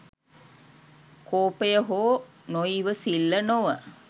කෝපය හෝ නොඉවසිල්ල නොව